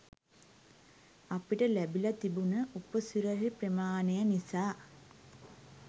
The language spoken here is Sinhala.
අපිට ලැබිලා තිබුන උපසිරැසි ප්‍රමාණය නිසා